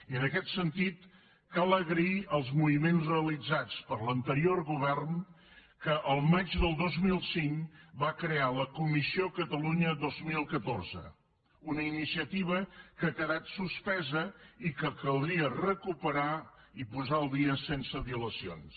i en aquest sentit cal agrair els moviments realitzats per l’anterior govern que el maig del dos mil cinc va crear la comissió catalunya dos mil catorze una iniciativa que ha quedat suspesa i que caldria recuperar i posar al dia sense dilacions